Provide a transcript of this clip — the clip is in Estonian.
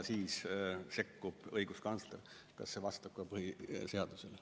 Siis sekkub õiguskantsler, kas see vastab ka põhiseadusele.